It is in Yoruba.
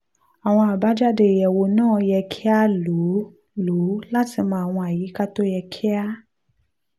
àwọn àbájáde ìyẹwò náà yẹ kí a lò lò láti mọ àwọn àyíká tó yẹ kí a